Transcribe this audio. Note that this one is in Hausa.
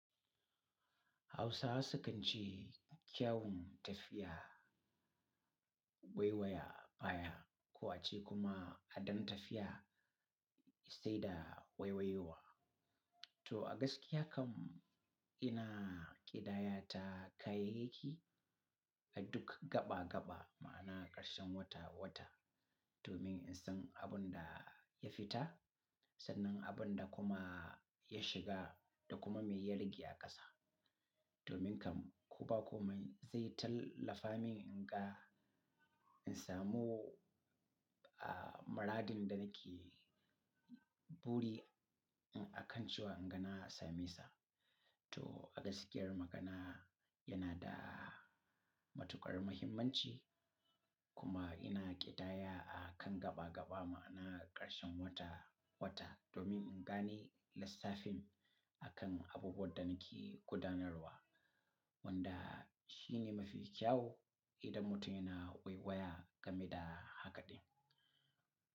Hausawa sukan ce kyawun tafiya waiwaya baya, ko a ce kuma adon tafiya sai da waiwayowa. To, a gaskiya kam ina ƙidaya ta kayayyaki a duk gaba-gaba ma'ana ƙarshen wata-wata domin in san abin da ya fita sannan abin da kuma ya shiga da kuma mai ya rage a ƙasa. Domin kam ko ba ko mai zai tallafa min inga in samu, muradin da nake buri a kan cewa in ga na same sa. To a gaskiyar magana yana da matuƙar muhimmanci kuma ina ƙidaya a kan gaba-gaba ma'ana ƙarshen wata-wata domin in gane lissafin a kan abubuwan da nake gudanarwa wanda shi ne mafi kyau idan mutum yana waiwaya game da hakaɗin.